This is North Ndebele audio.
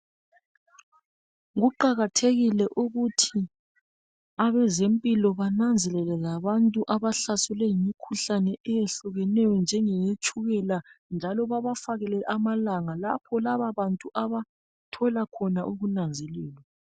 kuqakathekile ukuthi abezempilo bananzelele labantu abahlaselwe yimikhuhlane eyehlukeneyo njengeye tshukela njalo babafakele amalanga lapha laba bantu abathola khona ukunanzelelwa